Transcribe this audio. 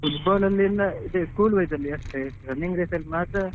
Football ಅಲ್ಲಿಯಲ್ಲ school wise ಅಲ್ಲಿ ಅಷ್ಟೇ running race ಅಲ್ಲಿ ಮಾತ್ರ.